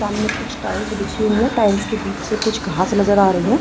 सामने कुछ टाइल्स बिछी हुईं हैं टाइल्स के बीच से कुछ घास नजर आ रही हैं।